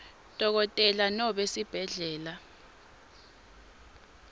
dokotela nobe sibhedlela